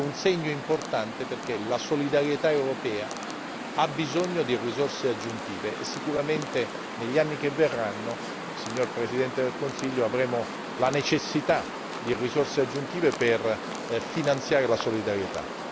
è un segno importante perché la solidarietà europea ha bisogno di risorse aggiuntive e sicuramente, negli anni che verranno, signor Presidente del Consiglio, avremo la necessità di risorse aggiuntive per finanziare la solidarietà.